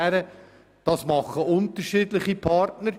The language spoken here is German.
Das machen unterschiedliche Partner.